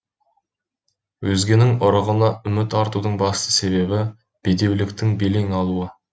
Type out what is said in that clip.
өзгенің ұрығына үміт артудың басты себебі бедеуліктің белең алуы